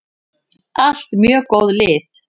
Allt mjög góð lið.